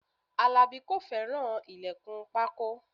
Alabi kò fẹ́ràn ilẹkun pákó